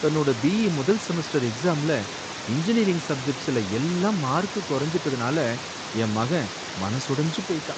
தன்னோட பி.ஈ. முதல் செமஸ்டர் எக்ஸாம்ஸ்ல இன்ஜினியரிங் சப்ஜெக்ட்ஸ்ல எல்லாம் மார்க் குறைஞ்சுட்டதனால என் மகன் மனசொடிஞ்சு போயிட்டான்.